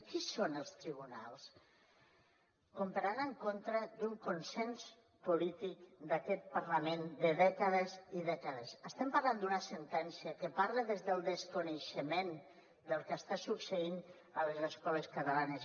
qui són els tribunals com per anar en contra d’un consens polític d’aquest parlament de dècades i dècades estem parlant d’una sentència que parla des del desconeixement del que està succeint a les escoles catalanes